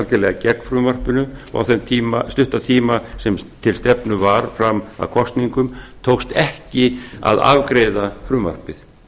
lagðist algerlega gegn frumvarpinu og á þeim stutta tíma sem til stefnu var fram að kosningum tókst ekki að afgreiða frumvarpið